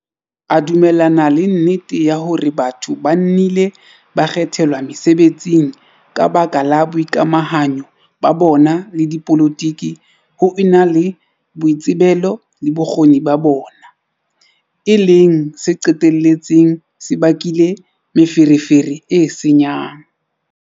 A dumellana le nnete ya hore batho ba nnile ba kgethelwa mesebetsing ka baka la boikamahanyo ba bona le dipolotike ho ena le boitsebelo le bokgoni ba bona, e leng se qetelletseng se bakile "meferefere e senyang".